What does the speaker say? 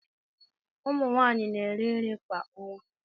Ụmụ nwanyị na-eri nri kwa ọnwa.